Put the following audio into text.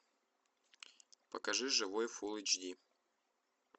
покажи живой фул эйч ди